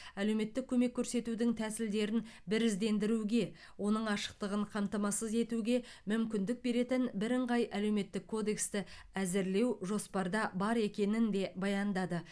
әлеуметтік көмек көрсетудің тәсілдерін біріздендіруге оның ашықтығын қамтамасыз етуге мүмкіндік беретін бірыңғай әлеуметтік кодексті әзірлеу жоспарда бар екенін де баяндады